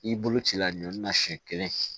I bolo ci la ɲɔnna siɲɛ kelen